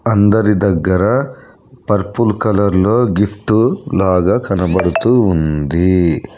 అందరి దగ్గర పర్ప్ల్ కలర్లో గిఫ్ట్ లాగా కనబడుతూ ఉంది.